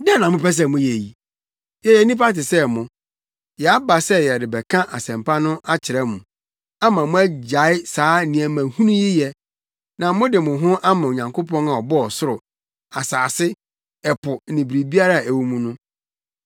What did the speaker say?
“Dɛn na mopɛ sɛ moyɛ yi? Yɛyɛ nnipa te sɛ mo! Yɛaba sɛ yɛrebɛka asɛmpa no akyerɛ mo, ama moagyae saa nneɛma hunu yi yɛ, na mode mo ho ama Onyankopɔn a ɔbɔɔ ɔsoro, asase, ɛpo ne biribiara a ɛwɔ mu no.